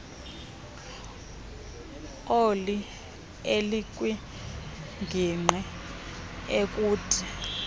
oli elikwingingqi ekude